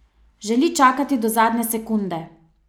Želi čakati do zadnje sekunde.